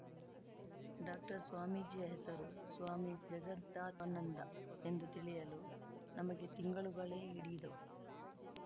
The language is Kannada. ಡಾಕ್ಟರ್‌ ಸ್ವಾಮೀಜಿಯ ಹೆಸರು ಸ್ವಾಮಿ ಜಗದಾನಂದ ಎಂದು ತಿಳಿಯಲು ನಮಗೆ ತಿಂಗಳುಗಳೇ ಹಿಡಿದ್ದವು